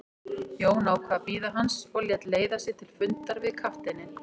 Jón ákvað að bíða hans og lét leiða sig til fundar við kafteininn.